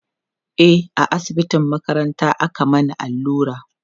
e a asibitin makaranta aka Mani allura